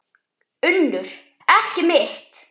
UNNUR: Ekki mitt.